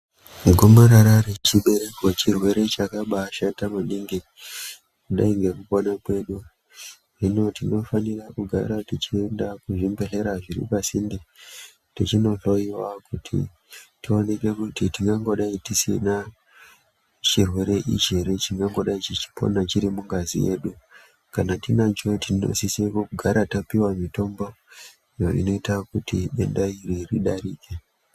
Gomarara rechibereko chirwere chakabashata maningi kudai nekupona kwedu. Hino tinofanira kugara tichienda kuzvibhedhlera zviripasinde tichinohloiwa kuti tionekwe kuti tingangodai tisina chirwere ichi ere chingangodai chichipona chiri mungazi yedu. Kana tinacho tinosise kugara tapuve mitombo inoita kuti denda iri ridarike.